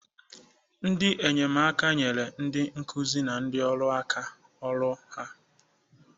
Ndị enyemaka, nyere ndị nkuzi na ndị ọrụ aka n'ọrụ ha.